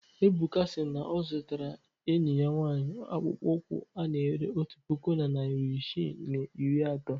Ebuka si na ọ zụtara enyi ya nwaanyị akpụkpọ ụkwụ ana-ere otu puku na narị isii na iri atọ.